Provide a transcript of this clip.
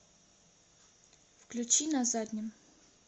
включи на заднем